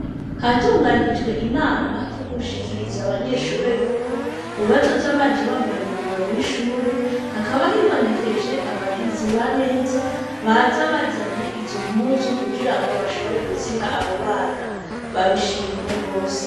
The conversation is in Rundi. Hatunganijwe inama ryoukushikiriza abanyeshure yuko ububazo z'abaje bambaye umwambaro w'ishure hakaba hibonekeje abagizi ba neza baza bazanye izo mpuzu kugira ngo bashobore kuziha abo bana babishimye rwose.